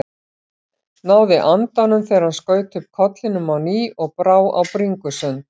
Náði andanum þegar hann skaut upp kollinum á ný og brá á bringusund.